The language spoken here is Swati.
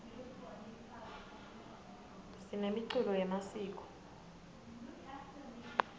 sinemiculo yemasiko